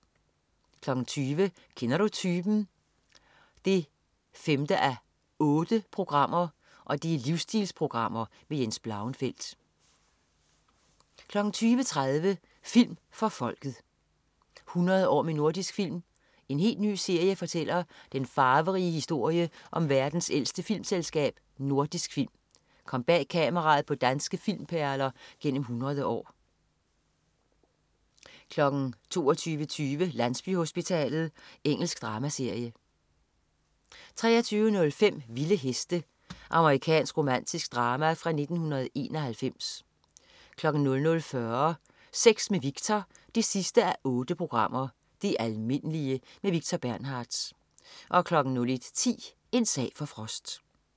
20.00 Kender du typen? 5:8. Livsstilprogram med Jens Blauenfeldt 20.30 Film for Folket. 100 år med Nordisk Film. En helt ny serie fortæller den farverige historie om verdens ældste filmselskab: Nordisk Film. Kom bag kameraet på danske filmperler gennem 100 år 22.20 Landsbyhospitalet. Engelsk dramaserie 23.05 Vilde heste. Amerikansk romantisk drama fra 1991 00.40 Sex med Victor 8:8. Det almindelige. Victor Bernhardtz 01.10 En sag for Frost